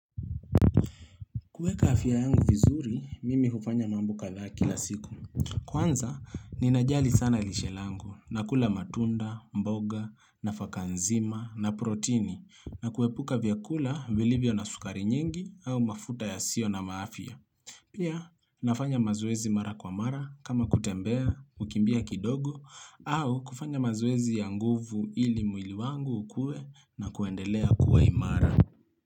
Kuweka afya yangu vizuri, mimi hufanya mambo kadhaa kila siku. Kwanza, ninajali sana lishe langu, nakula matunda, mboga, nafaka nzima, na protini, na kuepuka vyakula, vilivyo na sukari nyingi, au mafuta yasiyo na afya Pia, nafanya mazoezi mara kwa mara, kama kutembea, kukimbia kidogo, au kufanya mazoezi ya nguvu ili mwili wangu ukue na kuendelea kuwa imara.